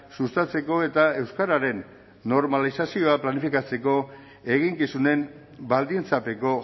sustatzeko eta euskararen normalizazioa planifikatzeko eginkizunen baldintzapeko